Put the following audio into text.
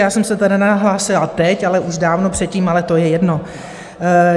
Já jsem se teda nehlásila teď, ale už dávno předtím, ale to je jedno.